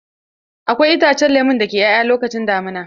Akwai itacen lemo da ke 'ya'ya lokacin damina.